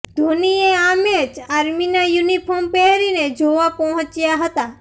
ધોનીએ આ મેચ આર્મીનાં યુનિફોર્મ પહેરીને જોવા પહોંચ્યાં હતાં